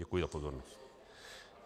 Děkuji za pozornost.